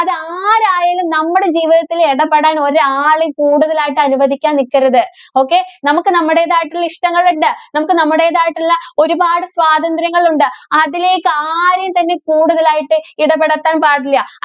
ആരായാലും നമ്മടെ ജീവിതത്തില്‍ ഇടപെടാന്‍ ഒരാളേം കൂടുതലായിട്ട് അനുവദിക്കാന്‍ നില്‍ക്കരുത്, okay. നമുക്ക് നമ്മുടേതായിട്ടുള്ള ഇഷ്ടങ്ങള്‍ ഉണ്ട്. നമുക്ക് നമ്മുടേതായിട്ടുള്ള ഒരുപാട് സ്വാതന്ത്ര്യങ്ങള്‍ ഉണ്ട്. അതിലേക്ക് ആരെയും തന്നെ കൂടുതലായിട്ട് ഇടപെടുത്താന്‍ പാടില്ല.